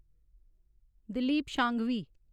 Dilip Sanghvi